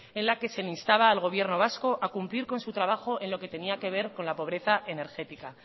en la que se le instaba al gobierno vasco a cumplir con su trabajo en lo que tenía que ver con la pobreza energética